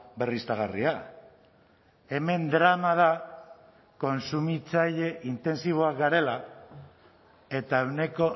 berriztagarria hemen drama da kontsumitzaile intentsiboak garela eta ehuneko